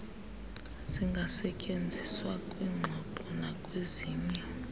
zingasetyenziswa kwiingxoxo nakwezinye